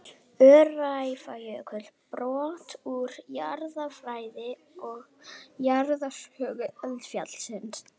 Öræfajökull, brot úr jarðfræði og jarðsögu eldfjallsins.